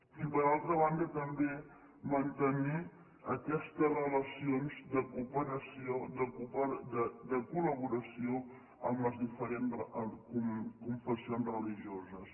i per altra banda també mantenir aquestes relacions de cooperació de col·laboració amb les diferents confessions religioses